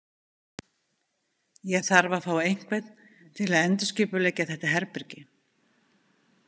Ég þarf að fá einhvern til að endurskipuleggja þetta herbergi.